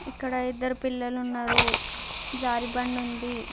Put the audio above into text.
ఇక్కడ ఇద్దరు పిల్లలు ఉన్నారు. జారు బండి ఉంది.